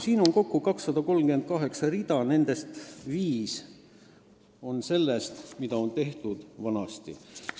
Siin on kokku 238 rida, nendest viis on sellest, mida varem tehtud on.